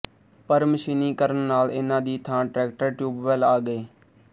ਪਰ ਮਸ਼ੀਨੀਕਰਨ ਨਾਲ ਇਨ੍ਹਾਂ ਦੀ ਥਾਂ ਟਰੈਕਟਰ ਟਿਊਬਵੈੱਲ ਆ ਗਏ